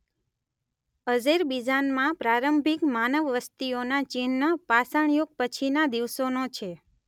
અઝેરબીજાનમાં પ્રારંભિક માનવ વસ્તીઓના ચિહ્ન પાષાણ યુગ પછીના દિવસોનો છે.